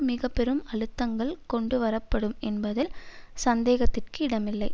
மிக பெரும் அழுத்தங்கள் கொண்டுவரப்படும் என்பதில் சந்தேகத்திற்கு இடமில்லை